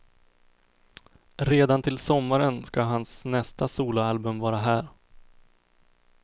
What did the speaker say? Redan till sommaren ska hans nästa soloalbum vara här.